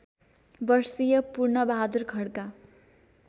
वर्षीय पूर्णबहादुर खड्का